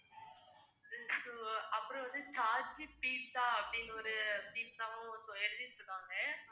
so அப்புறம் வந்து pizza அப்படின்னு ஒரு pizza வும் எழுதிருக்காங்க